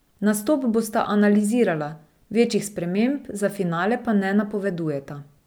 Nastop bosta analizirala, večjih sprememb za finale pa ne napovedujeta.